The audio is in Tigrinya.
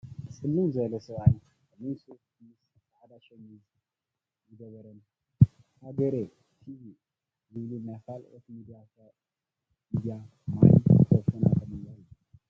ፅልም ዝበለ ሰብኣይ ፀሊም ሱፍ ምስ ፃዐዳ ሸሚዝ ዝገበረን ሀገሬ ቲቪ ዝብሉን ናይ ካልኦት ሚድያ ማይ ክረፎን ኣብ ቅድሚኡ ኣሎ።